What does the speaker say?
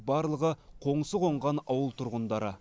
барлығы қоңсы қонған ауыл тұрғындары